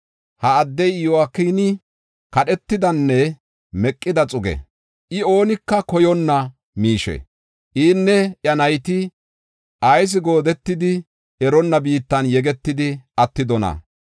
Ha addey Yo7akini, kadhetidanne meqida xuggee? I, oonika koyonna miishee? Inne iya nayti ayis goodetidi, eronna biittan yegetidi attidonaa?